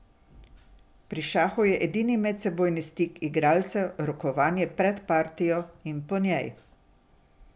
Pri šahu je edini medsebojni stik igralcev rokovanje pred partijo in po njej.